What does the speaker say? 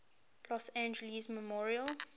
los angeles memorial